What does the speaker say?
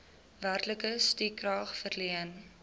werklike stukrag verleen